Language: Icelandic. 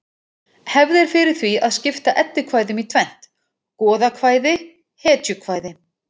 Hefð er fyrir því að skipta eddukvæðum í tvennt: goðakvæði hetjukvæði